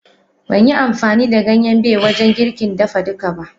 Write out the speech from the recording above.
Banyi amfani da Ganyen Bay wajen girkin dafa duka ba.